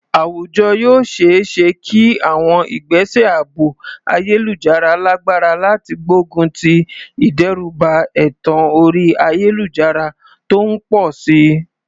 Àwùjọ yóò ṣe é ṣe kí àwọn ìgbésẹ̀ ààbò ayélujára lágbára láti gbógun ti ìdẹ́rùbà ẹ̀tàn orí ayélujára tó ń pọ̀ sí i.